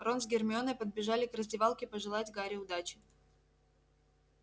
рон с гермионой подбежали к раздевалке пожелать гарри удачи